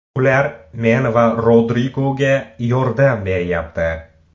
Ular men va Rodrigoga yordam beryapti.